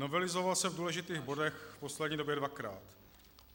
Novelizoval se v důležitých bodech v poslední době dvakrát.